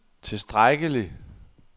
tilstrækkelig